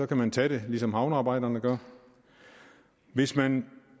kan man tage det ligesom havnearbejderne gør hvis man